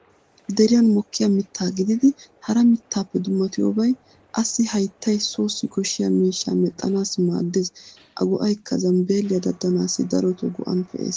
Deriyan mokkiya mitta gididi hara mittaappe dummatiyobay assi hayttay sossi koshshiya miishshaa mexxanaassi maaddeees.A go'aykka zambbeeliya daddanaassi daroto go'an pee'ees.